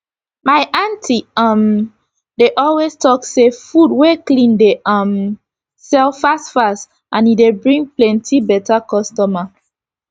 my auntie um dey always talk say food wey clean dey um sell fast fast and e dey bring plenty beta customer